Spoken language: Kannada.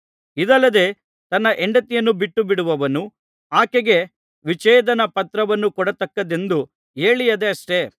ಇದಲ್ಲದೆ ತನ್ನ ಹೆಂಡತಿಯನ್ನು ಬಿಟ್ಟುಬಿಡುವವನು ಆಕೆಗೆ ವಿಚ್ಛೇದನ ಪತ್ರವನ್ನು ಕೊಡತಕ್ಕದ್ದೆಂದು ಹೇಳಿಯದೆಯಷ್ಟೆ